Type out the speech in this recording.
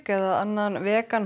eða annan vegan